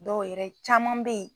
Dɔw yɛrɛ caman be yen